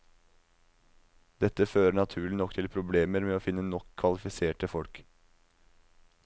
Dette fører naturlig nok til problemer med å finne nok kvalifiserte folk.